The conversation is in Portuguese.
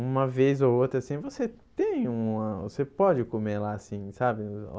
Uma vez ou outra assim, você tem uma... você pode comer lá assim, sabe?